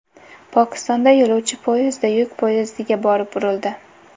Pokistonda yo‘lovchi poyezdi yuk poyezdiga borib urildi.